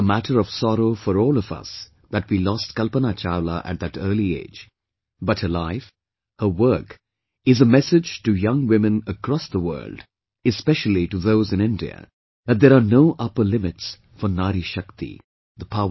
It's a matter of sorrow for all of us that we lost Kalpana Chawla at that early age, but her life, her work is a message to young women across the world, especially to those in India, that there are no upper limits for Nari Shakti ...